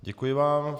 Děkuji vám.